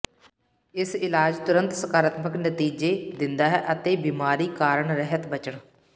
ਇਸ ਇਲਾਜ ਤੁਰੰਤ ਸਕਾਰਾਤਮਕ ਨਤੀਜੇ ਦਿੰਦਾ ਹੈ ਅਤੇ ਬਿਮਾਰੀ ਕਾਰਨ ਰਹਿਤ ਬਚਣ